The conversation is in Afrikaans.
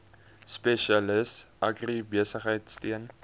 spesialis agribesigheid steun